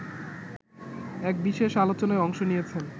এক বিশেষ আলোচনায় অংশ নিয়েছেন